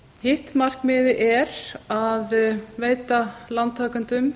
hitt markmiðið er að veita lántakendum